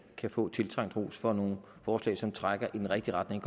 kan få en tiltrængt ros for nogle forslag som trækker i den rigtige retning